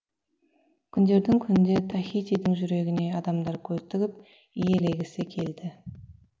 күндердің күнінде тахитидің жүрегіне адамдар көз тігіп иелегісі келді